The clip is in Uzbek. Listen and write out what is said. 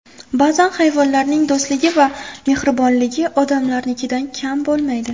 Ba’zan hayvonlarning do‘stligi va mehribonligi odamlarnikidan kam bo‘lmaydi.